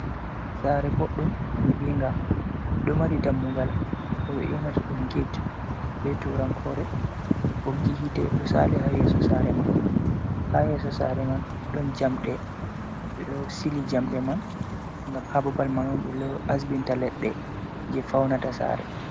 Sare boɗɗum yibiiga do mari dammugal ko be yonata ɗum get be turankore boggi hite do sali ha yeso sare man ha yeso sare man don jamɗe be do sili jamɗe man ngam ha babal man on be asbinta leɗɗe je fauna ta sare.